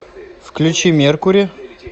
включи меркури